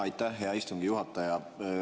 Aitäh, hea istungi juhataja!